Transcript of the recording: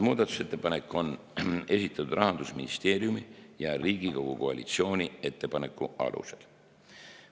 Muudatusettepanek on esitatud Rahandusministeeriumi ja Riigikogu koalitsiooni ettepanekute alusel.